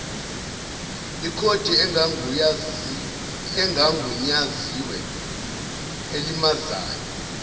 ikhodi engagunyaziwe elimazayo